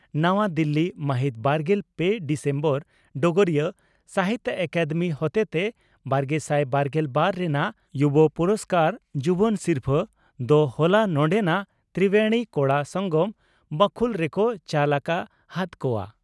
ᱱᱟᱣᱟ ᱫᱤᱞᱤ ᱢᱟᱦᱤᱛ ᱵᱟᱨᱜᱮᱞ ᱯᱮ ᱰᱤᱥᱮᱢᱵᱚᱨ (ᱰᱚᱜᱚᱨᱤᱭᱟᱹ) ᱺ ᱥᱟᱦᱤᱛᱭᱚ ᱟᱠᱟᱫᱮᱢᱤ ᱦᱚᱛᱮᱛᱮ ᱵᱟᱨᱜᱮᱥᱟᱭ ᱵᱟᱨᱜᱮᱞ ᱵᱟᱨ ᱨᱮᱱᱟᱜ ᱭᱩᱵᱚ ᱯᱩᱨᱚᱥᱠᱟᱨ (ᱡᱩᱣᱟᱹᱱ ᱥᱤᱨᱯᱷᱟᱹ) ᱫᱚ ᱦᱚᱞᱟ ᱱᱚᱸᱰᱮᱱᱟᱜ ᱛᱨᱤᱵᱮᱬᱤ ᱠᱚᱲᱟ ᱥᱚᱝᱜᱚᱢ ᱵᱟᱹᱠᱷᱩᱞ ᱨᱮᱠᱚ ᱪᱟᱞ ᱟᱠᱟ ᱦᱟᱫ ᱠᱚᱜᱼᱟ ᱾